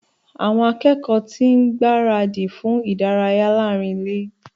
Àwọn akẹ́kọ̀ọ́ ti ń gbára dì fún ìdárayá láàrín ile